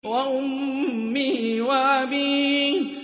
وَأُمِّهِ وَأَبِيهِ